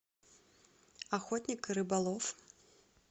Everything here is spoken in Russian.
охотник и рыболов